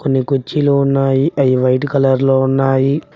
కొన్ని కుర్చీలు ఉన్నాయి అయి వైట్ కలర్ లో ఉన్నాయి.